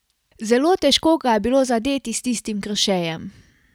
Zelo težko ga je bilo zadeti s tistim krošejem.